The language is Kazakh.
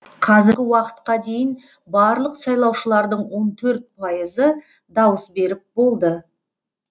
қазіргі уақытқа дейін барлық сайлаушылардың он төрт пайызы дауыс беріп болды